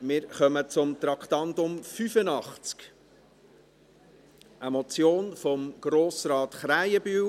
Wir kommen zum Traktandum 85, einer Motion von Grossrat Krähenbühl: